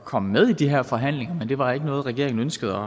komme med i de her forhandlinger men det var ikke noget regeringen ønskede